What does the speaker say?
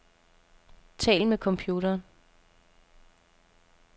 Tal med computeren.